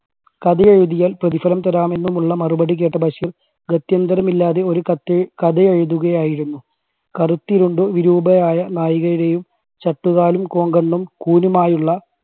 കഥ എഴുതിയാൽ പ്രതിഫലം തരാമെന്നുമുള്ള മറുപടി കേട്ട് ബഷീർ ഗത്യന്തരമില്ലാതെ ഒരു കത്ത് കഥ എഴുതുകയായിരുന്നു. കറുത്തിരുണ്ട് വിരൂപയായ നായികയുടെയും ചട്ടുകാലും, കോങ്കണ്ണും, കൂനുമായുള്ള